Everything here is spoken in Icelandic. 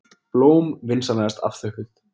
Blóm vinsamlegast afþökkuð.